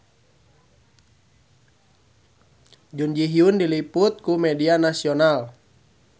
Jun Ji Hyun diliput ku media nasional